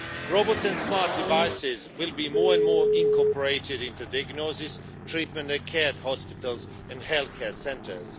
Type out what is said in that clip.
Robots and smart devices will be more and more incorporated into diagnosis, treatment and care at hospitals and healthcare centres.